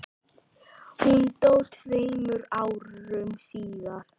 Hún dó tveimur árum síðar.